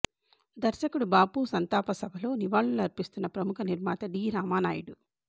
దర్శకుడు బాపు సంతాప సభలో నివాళులు అర్పిస్తున్న ప్రముఖ నిర్మాత డి రామానాయుడు